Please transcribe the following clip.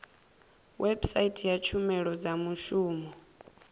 website ya tshumelo dza muvhuso